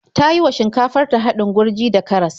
Ta yi wa shinkafar ta haɗin gurji da karas.